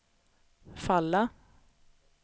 falla